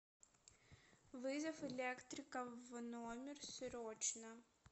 вызов электрика в номер срочно